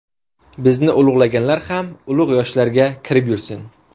Bizni ulug‘laganlar ham ulug‘ yoshlarga kirib yursin!”.